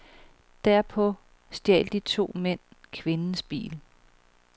Derpå stjal de to mænd kvindens bil.